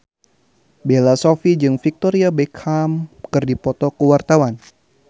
Bella Shofie jeung Victoria Beckham keur dipoto ku wartawan